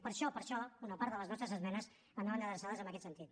per això per això una part de les nostres esmenes anaven adreçades en aquest sentit